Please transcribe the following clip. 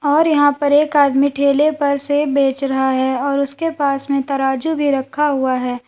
और यहां पर एक आदमी ठेले पर सेब बेच रहा है और उसके पास में तराजू भी रखा हुआ है।